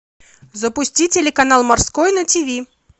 запусти телеканал морской на тиви